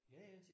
Ja ja